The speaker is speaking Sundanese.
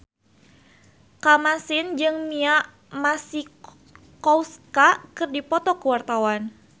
Kamasean jeung Mia Masikowska keur dipoto ku wartawan